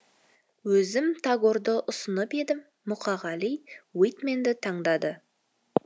өзім тагорды ұсынып едім мұқағали уитменді таңдады